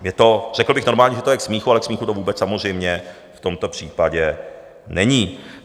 Řekl bych normálně, že to je k smíchu, ale k smíchu to vůbec samozřejmě v tomto případě není.